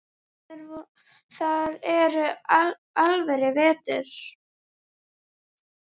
Þar er alvöru vetur.